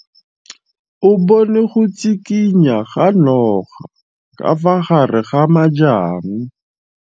O bone go tshikinya ga noga ka fa gare ga majang.